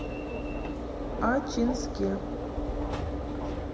ачинске